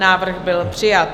Návrh byl přijat.